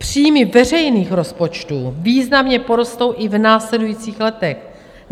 Příjmy veřejných rozpočtů významně porostou i v následujících letech.